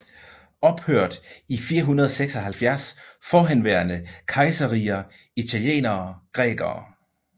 Ophørt i 476 Forhenværende kejserriger Italienere Grækere